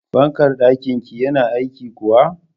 Fankar ɗakin ki yana aiki kuwa?